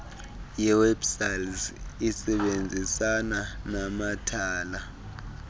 yewebpals isebenzisana namathala